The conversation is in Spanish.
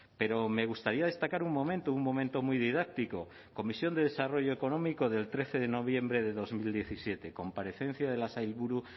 pero me gustaría destacar un momento un momento muy didáctico comisión de desarrollo económico del trece de noviembre de dos mil diecisiete comparecencia de la sailburu